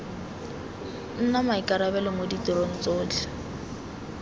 nna maikarabelo mo ditirong tsotlhe